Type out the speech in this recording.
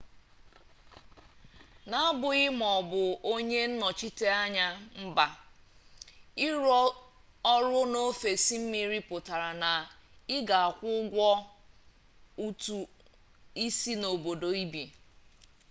n'abụghị ma ị bụ onye nnọchiteanya mba ịrụ ọrụ n'ofesị mmiri pụtara na ị ga-akwụ ụgwọ ụtụ isi n'obodo ibi